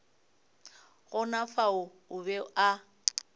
gona fao o be a